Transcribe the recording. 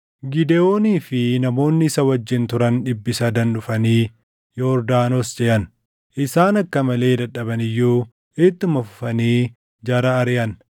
Gidewoonii fi namoonni isa wajjin turan dhibbi sadan dhufanii Yordaanos ceʼan; isaan akka malee dadhaban iyyuu ittuma fufanii jara ariʼan.